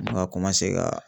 N bɛ ka ka